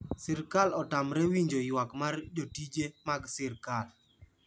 Sirkal otamre winjo ywak mar jotije mag sirkal